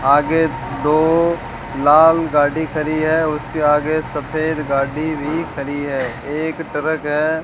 आगे दो लाल गाड़ी खरी है और उसके आगे सफेद गाड़ी भी खरी है एक ट्रक है।